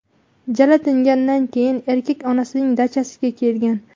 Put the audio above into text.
Jala tinganidan keyin erkak onasining dachasiga kelgan.